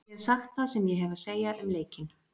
Ég hef sagt það sem ég hef að segja um leikinn.